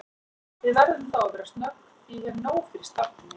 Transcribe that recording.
Við verðum þá að vera snögg því ég hef nóg fyrir stafni